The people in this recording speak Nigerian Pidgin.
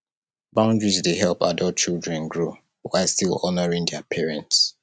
boundaries dey help adult children grow while still honoring their parents